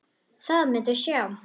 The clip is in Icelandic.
Það muntu sjá.